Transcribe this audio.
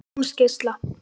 Jónsgeisla